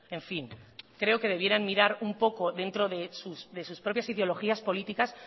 en fin creo que debieran mirar un poco dentro de sus propias ideologías políticas